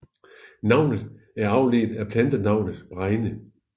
Navnet er afledt af plantenavnet bregne